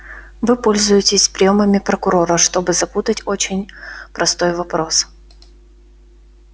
вы пользуетесь приёмами прокурора чтобы запутать очень простой вопрос